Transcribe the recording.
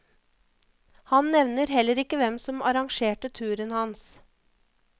Han nevner heller ikke hvem som arrangerte turen hans.